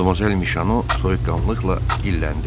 Madamazel Mişano soyuqqanlıqla dilləndi.